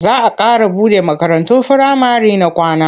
Za a ƙara buɗe makarantun firamare na kwana.